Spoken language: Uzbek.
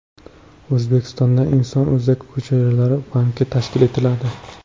O‘zbekistonda inson o‘zak hujayralari banki tashkil etiladi.